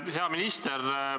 Hea minister!